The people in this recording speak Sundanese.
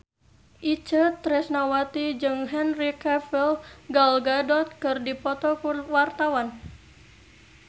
Itje Tresnawati jeung Henry Cavill Gal Gadot keur dipoto ku wartawan